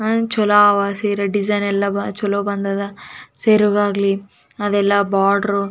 ಇದರಲ್ಲಿ ಒಂದು ಸಿರೆ ಕಾಣ್ತಾ ಇದೆ ಆ ಸಿರೆಯ ಮುರು ನಾಲ್ಕು ಪ್ರಕಾರ ಇದೆ ಅದು ಕಾಣ್ತಾ ಇದೆ .